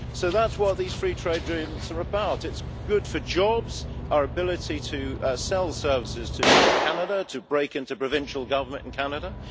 So that is what these free trade agreements are about. It is good for jobs, our ability to sell services to Canada, and to break into provincial government in Canada.